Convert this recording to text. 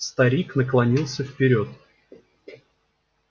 старик наклонился вперёд